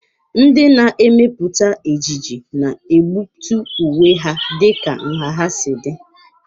Ndị na-emepụta ejiji na-egbutu uwe ha dịka nha ha si dị.